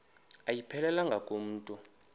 ayiphelelanga ku mntu